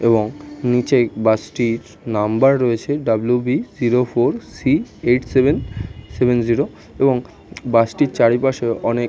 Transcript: এবং নীচে বাস - টির নাম্বার রয়েছে W B zero four C eight seven seven zero এবং বাস - টির চারিপাশেও অনেক --